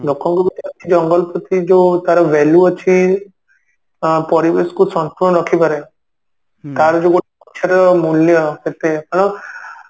ଲୋକଙ୍କ ଭିତରେ ଅଛି ଜଙ୍ଗଲ ପ୍ରତି ଯଉ ତାର value ଅଛି ଅ ପରିବେଶ କୁ ସନ୍ତୁଳନ ରଖିପାରେ ତାର ଯଉ ଗୋଟେ ଗଛର ମୂଲ୍ୟ କେତେ ତେଣୁ